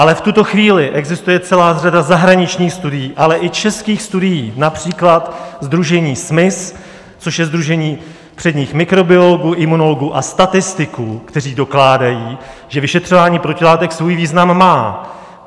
Ale v tuto chvíli existuje celá řada zahraničních studií, ale i českých studií, například sdružení SMIS, což je sdružení předních mikrobiologů, imunologů a statistiků, kteří dokládají, že vyšetřování protilátek svůj význam má.